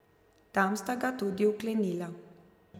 Tam sta ga tudi vklenila.